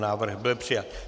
Návrh byl přijat.